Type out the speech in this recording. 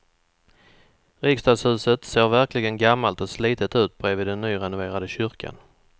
Riksdagshuset ser verkligen gammalt och slitet ut bredvid den nyrenoverade kyrkan.